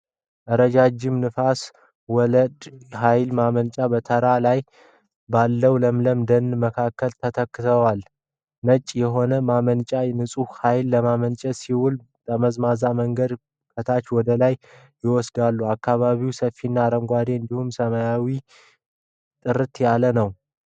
ረጃጅሞች ነፋስ ወለድ ኃይል ማመንጫዎች በተራራ ላይ ባለው ለምለም ደን መካከል ተተክለዋል፡፡ ነጭ የሆኑት ማመንጫዎቹ ንጹሕ ኃይል ለማመንጨት ሲውሉ፣ ጠመዝማዛ መንገድ ከታች ወደ ላይ ይወስዳል፡፡ አካባቢው ሰፊና አረንጓዴ እንዲሁም ሰማዩ ጥርት ያለ ነው፡፡